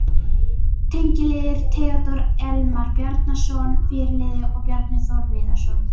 Tengiliðir: Theódór Elmar Bjarnason, fyrirliði og Bjarni Þór Viðarsson.